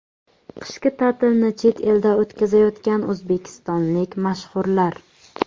Qishki ta’tilni chet elda o‘tkazayotgan o‘zbekistonlik mashhurlar .